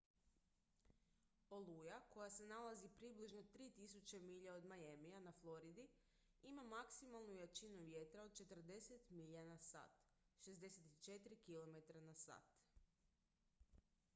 oluja koja se nalazi približno 3.000 milja od miamija na floridi ima maksimalnu jačinu vjetra od 40 milja/h 64 km/h